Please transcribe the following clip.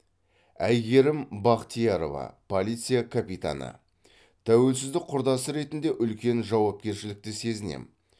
әйгерім бақтиярова полиция капитаны тәуелсіздік құрдасы ретінде үлкен жауапкершілікті сезінем